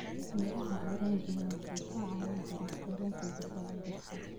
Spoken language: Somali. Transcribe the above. Miraha oranji waxay ka caawin karaan koritaanka difaaca jirka.